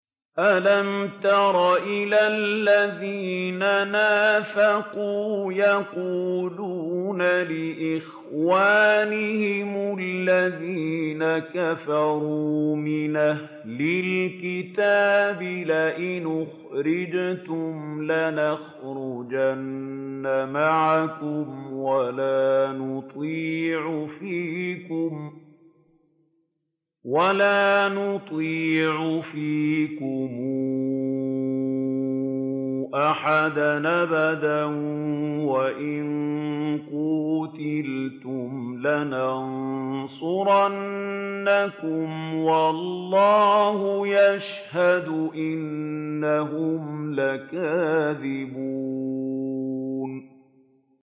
۞ أَلَمْ تَرَ إِلَى الَّذِينَ نَافَقُوا يَقُولُونَ لِإِخْوَانِهِمُ الَّذِينَ كَفَرُوا مِنْ أَهْلِ الْكِتَابِ لَئِنْ أُخْرِجْتُمْ لَنَخْرُجَنَّ مَعَكُمْ وَلَا نُطِيعُ فِيكُمْ أَحَدًا أَبَدًا وَإِن قُوتِلْتُمْ لَنَنصُرَنَّكُمْ وَاللَّهُ يَشْهَدُ إِنَّهُمْ لَكَاذِبُونَ